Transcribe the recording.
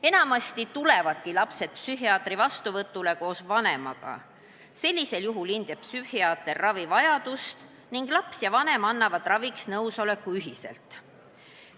Enamasti tulevadki lapsed psühhiaatri vastuvõtule koos vanemaga, sellisel juhul hindab psühhiaater ravi vajadust ning laps ja vanem annavad raviks nõusoleku ühiselt.